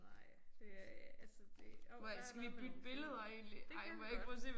Nej det er altså det jo bare have noget med nogle fugle. Det kan vi godt